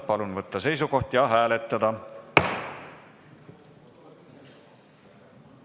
Palun võtta seisukoht ja hääletada!